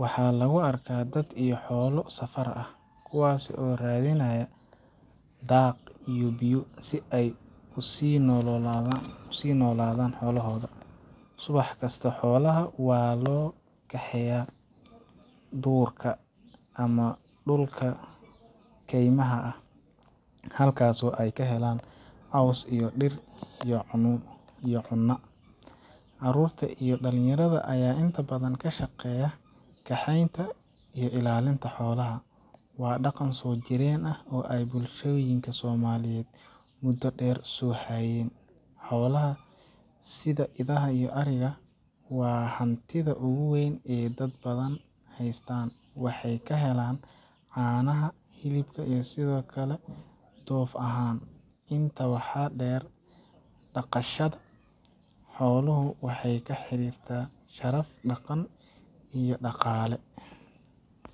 Waxaa lagu arkaa dad iyo xoolo safar ah, kuwaasoo raadinaya daaq iyo biyo, si ay u sii noolaadaan xoolahoodu. Subax kasta, xoolaha waxaa loo kaxeeyaa dhuurka ama dhulka kaymaha ah, halkaasoo ay ka helaan caws iyo dhir iyo cunna. Caruurta iyo dhalinyarada ayaa inta badan ka shaqeeya kaxaynta iyo ilaalinta xoolaha. Waa dhaqan soo jireen ah oo ay bulshooyinka Soomaalidu muddo dheer soo hayeen. Xoolahan sida idaha iyo ariga waa hantida ugu weyn ee dad badan haystaan. Waxay ka helaan caanaha, hilibka, iyo sidoo kale dhoof ahaan. Intaa waxaa dheer, dhaqashada xooluhu waxay la xiriirtaa sharaf, dhaqan iyo dhaqaale.